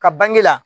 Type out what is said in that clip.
Ka bange la